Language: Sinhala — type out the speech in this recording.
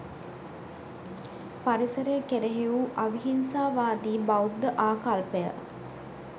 පරිසරය කෙරෙහි වූ අවිහිංසාවාදී බෞද්ධ ආකල්පය